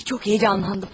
Ay, çox həyəcanlandım.